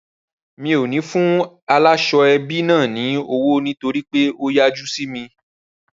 Rárá, mi ò ní fún ẹlẹ́ṣọ̀ ààbò náà ní owó nítorí pé ó yájú sí mi.